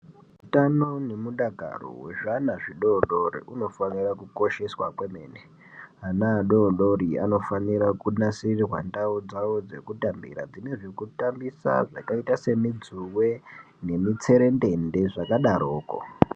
Hutano hunofanura kukosheswa kwemene ana adodori anofanira kunasirea ndau dzawo dzekutambira dzine zvekutambusa zvakaita semijuwe semutserendend zvakadaroko.